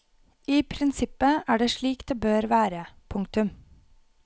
I prinsippet er det slik det bør være. punktum